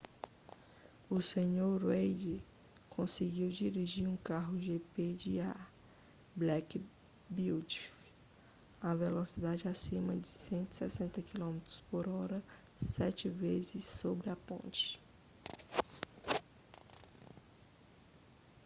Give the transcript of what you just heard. o senhor reid conseguiu dirigir um carro de gp de a black beauty a velocidades acima de 160 km/h sete vezes sobre a ponte